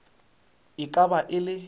e ka ba e le